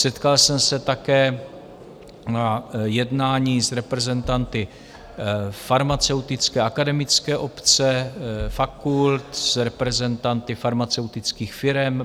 Setkal jsem se také na jednání s reprezentanty farmaceutické akademické obce, fakult, s reprezentanty farmaceutických firem.